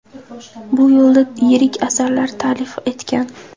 Bu yo‘lda yirik asarlar ta’lif etgan.